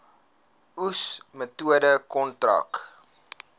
oes metode kontrak